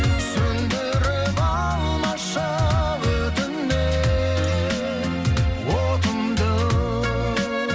сөнідіріп алмашы өтінемін отымды